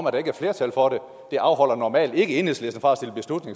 at der ikke er flertal for det afholder normalt ikke enhedslisten fra